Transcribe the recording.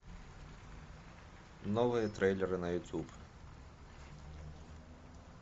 новые трейлеры на ютуб